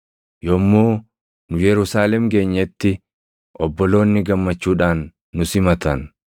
Yommuu nu Yerusaalem geenyetti obboloonni gammachuudhaan nu simatan.